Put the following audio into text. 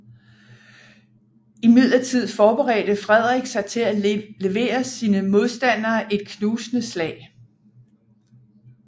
Imidlertid forberedte Frederik sig til at levere sine modstandere et knusende slag